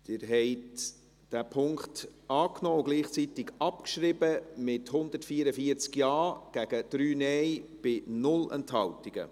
Sie haben diesen Punkt angenommen und gleichzeitig abgeschrieben, mit 144 Ja- gegen 3 Nein-Stimmen bei 0 Enthaltungen.